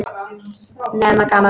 Nema gaman.